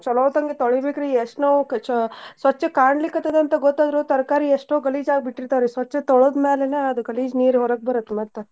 ಚಲೊತಂಗೆ ತೊಳಿಬೇಕ್ರಿ ಎಷ್ಟೋನೋ ಕಚ~ ಸ್ವಚ್ ಕಾಣ್ಲಿಕತ್ತಾದ ಅಂತ ಗೊತ್ತಾದ್ರು ತರಕಾರಿ ಎಷ್ಟೋ ಗಲೀಜ್ ಆಗಿಬಿಟ್ಟಿರ್ತಾವ್ರಿ. ಸ್ವಚ್ಛ್ ತೋಳ್ದ್ ಮ್ಯಾಲೇನೇ ಆದ್ ಗಲೀಜ್ ನೀರ್ ಹೊರಗ್ ಬರತ್ತ್ ಮತ್ತ.